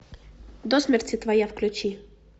до смерти твоя включи